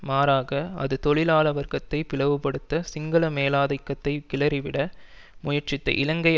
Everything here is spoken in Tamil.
மாறாக அது தொழிலாள வர்க்கத்தை பிளவுபடுத்த சிங்கள மேலாதிக்கத்தை கிளறிவிட முயற்சித்த இலங்கை